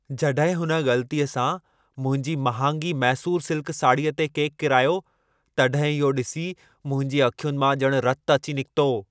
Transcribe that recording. जॾहिं हुन ग़लतीअ सां मुंहिंजी महांगी मैसूर सिल्क साड़ीअ ते केकु किरायो, तॾहिं इहो ॾिसी मुंहिंजी अखियुनि मां ॼणु रतु अची निकितो।